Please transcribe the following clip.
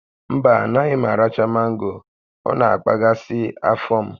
Mba, anaghị m aracha mango, ọ na-akpaghasị afọ m